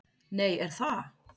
Nei, er það?